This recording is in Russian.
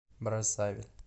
браззавиль